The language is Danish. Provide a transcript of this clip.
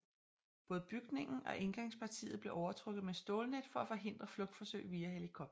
Både bygningen og indgangspartiet blev overtrukket med stålnet for at forhindre flugtforsøg via helikopter